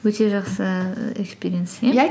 өте жақсы экспириенс